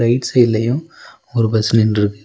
Right சைடுலையும் ஒரு bus நின்றுருக்கு.